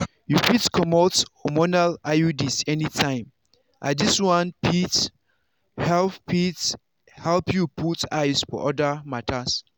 you fit comot hormonal iuds anytime as this one fit help fit help you put eyes for other matters.